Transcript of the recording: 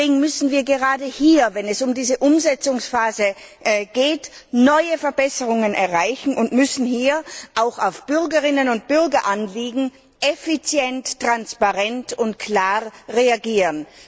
Deswegen müssen wir gerade hier, wenn es um diese Umsetzungsphase geht, neue Verbesserungen erreichen und auf Bürgerinnen und Bürgeranliegen effizient, transparent und klar reagieren.